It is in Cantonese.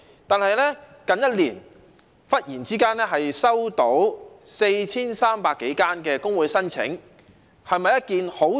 但是，近1年來，忽然收到 4,300 多個工會的申請，對工會來說，是否一件好事呢？